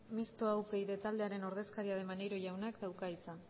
mistoa upyd taldearen ordezkaria den maneiro jaunak dauka hitza